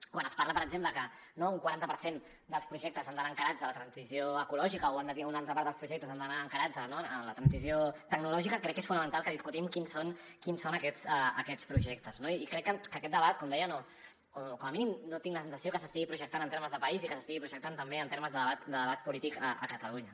quan es parla per exemple que un quaranta per cent dels projectes han d’anar encarats a la transició ecològica o una altra part dels projectes han d’anar encarats a la transició tecnològica crec que és fonamental que discutim quins són aquests projectes no i crec que aquest debat com deia com a mínim no tinc la sensació que s’estigui projectant en termes de país i que s’estigui projectant també en termes de debat polític a catalunya